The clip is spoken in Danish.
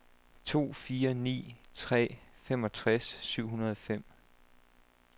to fire ni tre femogtres syv hundrede og fem